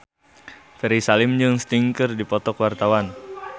Ferry Salim jeung Sting keur dipoto ku wartawan